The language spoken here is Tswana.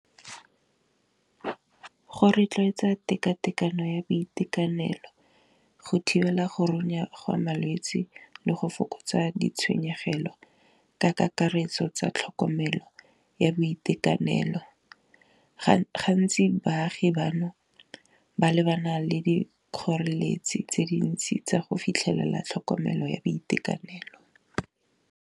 Go rotloetsa tekatekano ya boitekanelo go thibela go runya ga malwetsi le go fokotsa ditshenyegelo ka kakaretso tsa tlhokomelo ya boitekanelo, gantsi baagi bano ba lebana le di kgoreletsi tse dintsi tsa go fitlhelela tlhokomelo ya boitekanelo.